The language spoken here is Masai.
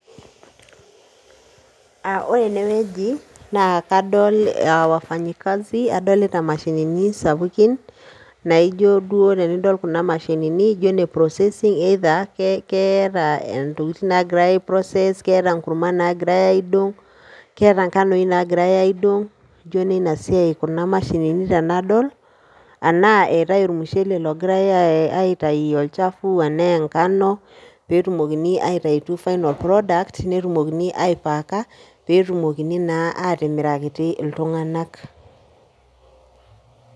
Ore ene weuji naa kadol aa wafanyi kazi adolita imashinini sapukin naa ijio duo tenidol kuna mashinini ijio ine processing either keeta intokitin naagirai aiprocess keeta nkurrman naagirai aidong' keeta ngano nagirai aidong' ijo inina siai kuna mashinini tenadol enaa eetai ormushele logirai aitayu olchafu enaa ngano pee etumoki aitayutu final product pee etumokini aipaacka pee etumokini naa aatimirakiti iltung'anak.